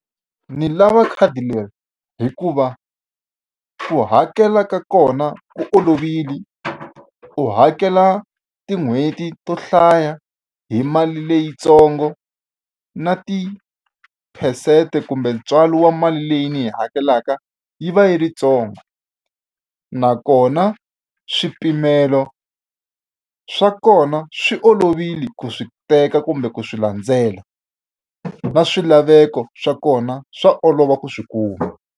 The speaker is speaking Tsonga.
Ndzi lava khadi leri hikuva, ku hakela ka kona ku olovile. U hakela tin'hweti to hlaya hi mali leyitsongo na tiphesente kumbe ntswalo wa mali leyi ni yi hakelaka yi va yi ri yintsongo. Nakona swipimelo swa kona swi olovile ku swi teka kumbe ku swi landzela, na swilaveko swa kona swa olova ku swi kuma.